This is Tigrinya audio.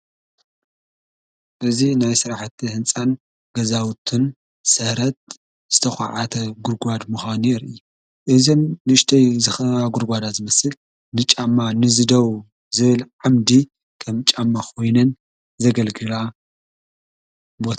እዙ ናይ ሥራሕቲ ሕንፃን ገዛውትን ሠረት ዝተዀዓተ ጕድጓድ ምዃኑ እየ እዘን ንሽተይ ዝኽባ ጕርጓዳ ዝምስል ንጫማ ንዚ ደው ዝብል ዓምዲ ከም ጫመኽውነን ዘገልግላ።